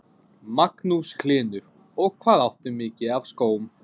Magnús Hlynur: Og hvað áttu mikið af skóm?